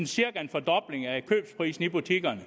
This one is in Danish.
cirka en fordobling af købsprisen i butikkerne